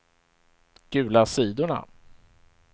gula sidorna